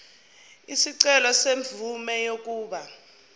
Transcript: isicelo semvume yokuba